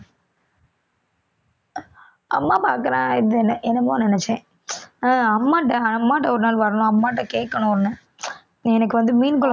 அம்மா இது என்ன~ என்னமோ நினைச்சேன் ஹம் அம்மா அம்மாட்ட ஒரு நாள் வரணும் அம்மாட்ட கேட்கணும்னு ஒண்ணு எனக்கு வந்து மீன் குழ~